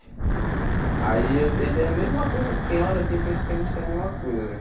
Aí a mesma coisa, quem olha assim pensa que a gente tem a mesma coisa, né?